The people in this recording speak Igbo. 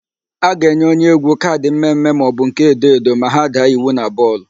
A ga-enye onyeégwú kaadị mmemme maọbụ nke edoedo ma ha daa iwu na bọọlụ.